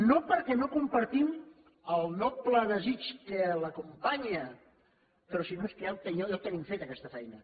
no perquè no compartim el noble desig que l’acompanya però és que ja la tenim feta aquesta feina